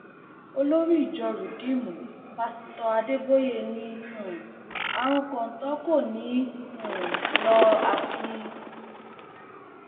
olórí ìjọ ridiimù pásítọ adébóyè ni um àrùn kọńtò kò ní í um lọ àfi